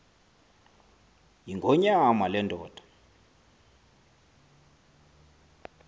yingonyama le ndoda